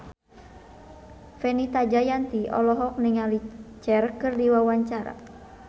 Fenita Jayanti olohok ningali Cher keur diwawancara